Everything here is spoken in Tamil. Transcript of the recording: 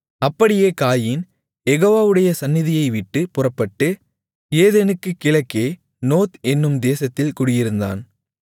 அப்படியே காயீன் யெகோவாவுடைய சந்நிதியைவிட்டுப் புறப்பட்டு ஏதேனுக்குக் கிழக்கே நோத் என்னும் தேசத்தில் குடியிருந்தான்